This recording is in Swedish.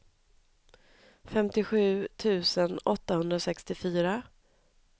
femtiosju tusen åttahundrasextiofyra